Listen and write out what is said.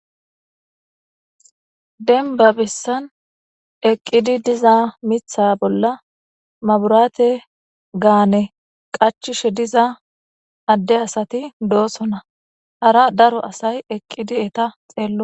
denba bessan eqqidi diza mitha bolla maburaate gaane qachishe diza adde asati doosona hara daro asay eqqidi eta xeello.